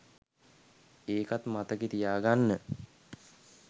ඒකත් මතකෙ තියාගන්න